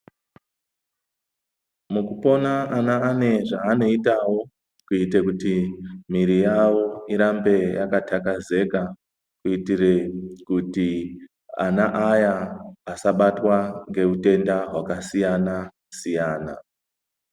Mukupona ana ane zvaanoitawo kuite kuti mwiri yawo irambe yakatakazeka kuitire kuti ana aya asabatwa ngeutenda wakasiyana siyana